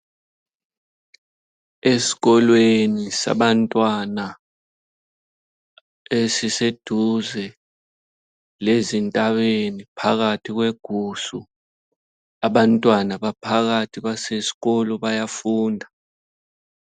Esikolweni sabantwana esiseduze lezintabeni phakathi kwegusu. Abantwana baphakathi basesikolo bayafunda.